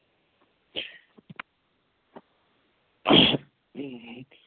,